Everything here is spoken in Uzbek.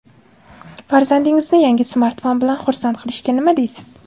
Farzandingizni yangi smartfon bilan xursand qilishga nima deysiz?.